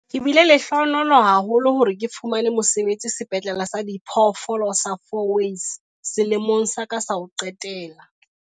"Ke bile lehlohonolo haholo hore ke fumane mosebetsi Sepetlele sa Diphoofolo sa Fourways selemong sa ka sa ho qetela."